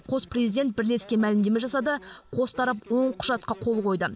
қос президент бірлескен мәлімдеме жасады қос тарап он құжатқа қол қойды